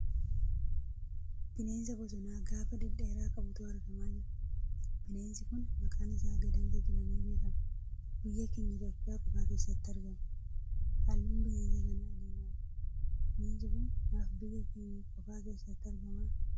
Bineensa bosonaa gaafa dhedheeraa qabutu argamaa jira. Bineensi kun maqaan isaa Gadamsa jedhamee beekama. Biyya keenya Itiyoopiyaa qofa keessatti argama. Halluun bineensa kanaa diimaadha. Bineensi kun maaf biyya keenya qofa keessatti argama?